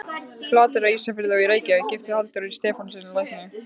Flateyri, Ísafirði og í Reykjavík, gift Halldóri Stefánssyni lækni.